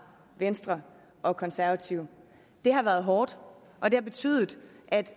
venstre og konservative det har været hårdt og det har betydet at